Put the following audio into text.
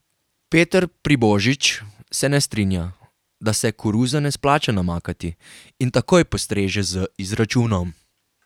Peter Pribožič se ne strinja, da se koruze ne splača namakati, in takoj postreže z izračunom.